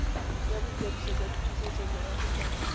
ya boikwadiso jwa dipusetsomorago tsa